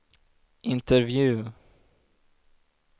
intervju